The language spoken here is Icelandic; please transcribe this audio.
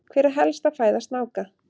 Hver er helsta fæða snáka?